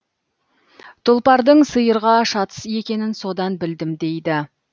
тұлпардың сиырға шатыс екенін содан білдім дейді